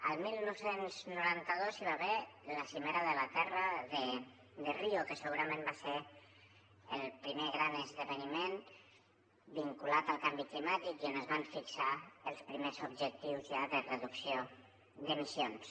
el dinou noranta dos hi va haver la cimera de la terra de rio que segurament va ser el primer gran esdeveniment vinculat al canvi climàtic i on es van fixar els primers objectius ja de reducció d’emissions